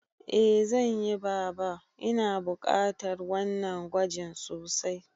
Eh zanyi baba, Ina bukatar wannan gwajin sosai